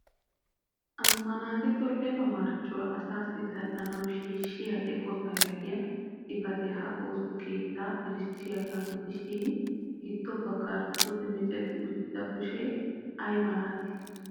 Ammanettito lefa marccuwaa asassi tal"anaw shiishshiya eqqota yaagiya xifaate ha ooso keetta erissiyaaga gidishin giddo baggan pude micceti uttida kushe ay malatii?